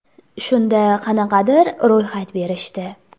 Shunda qanaqadir ro‘yxat berishdi.